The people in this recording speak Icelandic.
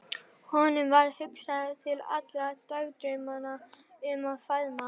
Honum varð hugsað til allra dagdraumanna um að faðma